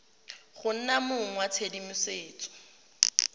go nna mong wa tshedimosetso